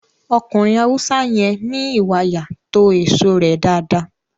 Ọkùnrin Haúsá yẹn ní ìwàyà to èso rẹ dáadáa